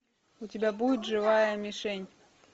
у тебя будет живая мишень